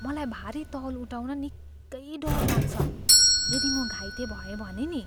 मलाई भारी तौल उठाउन निकै डर लाग्छ। यदि म घाइते भएँ भने नि?